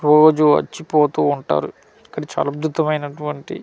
రోజు వచ్చి పొతూ ఉంటారు ఇక్కడ చాలా అద్భుతం అయినటువంటి .]